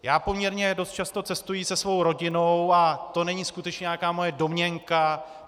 Já poměrně dost často cestuji se svou rodinou a to není skutečně nějaká moje domněnka.